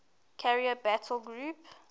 carrier battle group